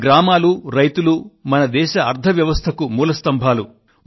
మన గ్రామాలు రైతులు మన దేశ ఆర్థిక వ్యవస్థకు మూల స్తంభాలు